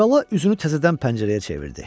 Əlibala üzünü təzədən pəncərəyə çevirdi.